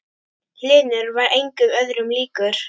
Hlynur var engum öðrum líkur.